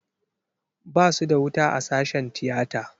Basu da wuta a sashen tiyata.